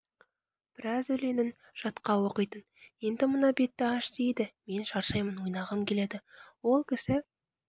біраз өлеңін жатқа оқитын енді мына бетті аш дейді мен шаршаймын ойнағым келеді ол кісі